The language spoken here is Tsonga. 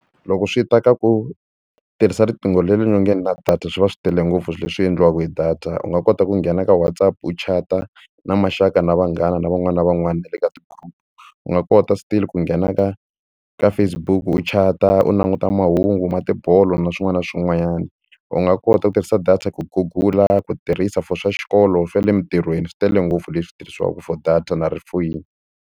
Loko swi ta ka ku tirhisa riqingho leri nyongeni na data swi va swi tele ngopfu leswi endliwaka hi data u nga kota ku nghena ka WhatsApp u chata na maxaka na vanghana na van'wana na van'wana na le ka ti-group-u nga kota still ku nghena ka ka Facebook u chata u languta mahungu na tibolo na swin'wana na swin'wanyana u nga kota ku tirhisa data ku gugula ku tirhisa for swa xikolo swa le emintirhweni swi tele ngopfu leswi tirhisiwaka for data na ri foyini.